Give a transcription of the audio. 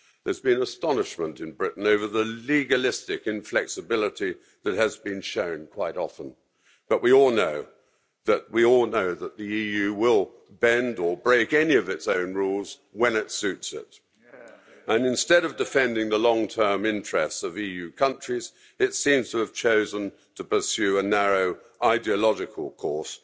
There's been astonishment in Britain over the legalistic inflexibility that has been shown quite often. But we all know that the EU will bend or break any of its own rules when it suits it, and instead of defending the long term interests of EU countries, it seems to have chosen to pursue a narrow ideological course